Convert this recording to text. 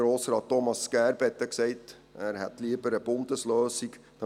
Grossrat Thomas Gerber hat gesagt, ihm sei eine Bundeslösung lieber.